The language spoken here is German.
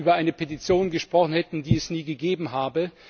auch über eine Petition gesprochen hätten, die es nie gegeben habe.